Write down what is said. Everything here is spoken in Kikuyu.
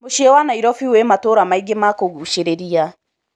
Mũciĩ wa Nairobi wĩ matũra maingĩ ma kũguchĩrĩria.